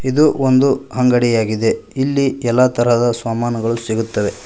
ಇದು ಒಂದು ಅಂಗಡಿಯಾಗಿದೆ ಇಲ್ಲಿ ಎಲ್ಲಾ ತರದ ಸಾಮಾನುಗಳು ಸಿಗುತ್ತವೆ.